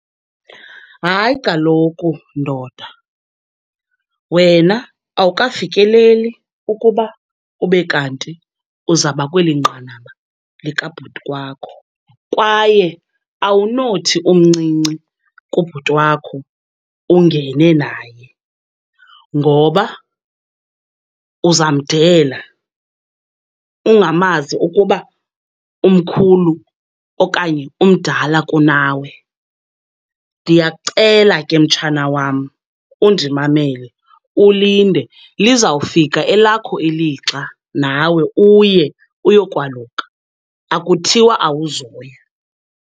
Hayi kaloku ndoda, wena awukafikeleli ukuba ube kanti uzaba kweli nqanaba likabhuti wakho. Kwaye awunothi umncinci kubhuti wakho ungene naye ngoba uzamdela ungamazi ukuba umkhulu okanye umdala kunawe. Ndiyakucela ke, mtshana wam undimamele ulinde, lizawufika elakho ilixa nawe uye uyokwaluka. Akuthiwa awuzoya.